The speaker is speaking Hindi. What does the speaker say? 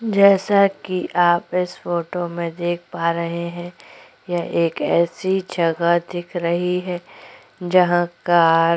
जैसा कि आप इस फोटो में देख पा रहै हैं यह एक ऐसी जगह दिख रही है जहाँ कार --